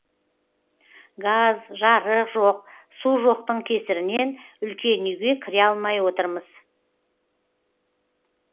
газ жарық жоқ су жоқтың кесірінен үлкен үйге кіре алмай отырмыз